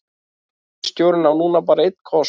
Ríkisstjórnin á núna bara einn kost